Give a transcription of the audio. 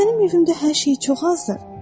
Axı mənim evimdə hər şey çox azdır.